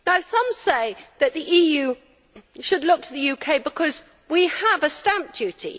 Some say that the EU should look to the UK because we have a stamp duty.